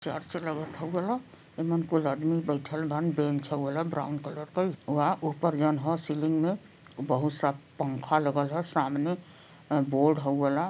Church लगथ हउ वाला। एमं कुल अदमी बईठल बाड़न बेंच हउ वाला ब्राउन कलर के बा। उपर जाऊन ह सीलिंग में बहुत सा पंखा लागल ह सामने बोर्ड हउ वाला--